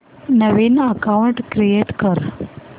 नवीन account create कर